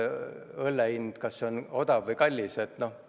Ja kas õlle hind 10 eurot on odav või kallis?